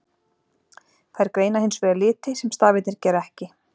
Þær greina hins vegar liti, sem stafirnir gera ekki.